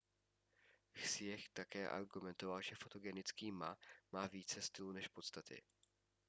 hsieh také argumentoval že fotogenický ma má více stylu než podstaty